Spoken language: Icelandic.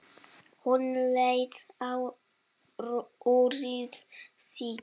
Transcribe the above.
Hún leit á úrið sitt.